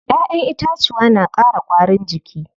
Ƴaƴen itacuwa na ƙara ƙwarin jiki.